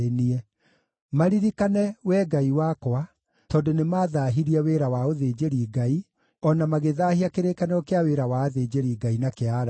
Maririkane, Wee Ngai wakwa, tondũ nĩmathaahirie wĩra wa ũthĩnjĩri-Ngai, o na magĩthaahia kĩrĩkanĩro kĩa wĩra wa athĩnjĩri-Ngai na kĩa Alawii.